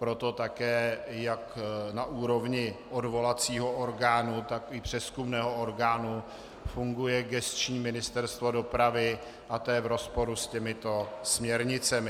Proto také jak na úrovni odvolacího orgánu, tak i přezkumného orgánu funguje gesční Ministerstvo dopravy a to je v rozporu s těmito směrnicemi.